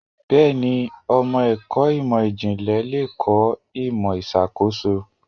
Bẹ́ẹ̀ni, ọmọ ẹ̀kọ́ ìmò ìjìnlẹ̀ le kọ́ ìmò ìṣàkóso.